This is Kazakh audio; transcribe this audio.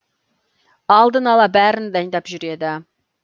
алдын ала бәрін дайындап жүреді